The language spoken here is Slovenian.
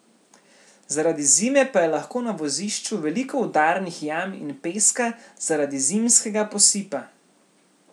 Zaradi zime pa je lahko na vozišču veliko udarnih jam in peska zaradi zimskega posipa.